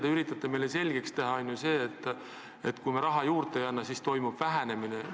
Te üritate meile selgeks teha, et kui me raha juurde ei anna, siis toimub vähenemine.